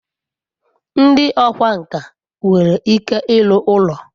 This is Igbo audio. ndi okwá nkà nwere ike iru ulo